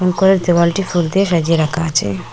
ঘরের দেওয়ালটি ফুল দিয়ে সাজিয়ে রাখা আছে।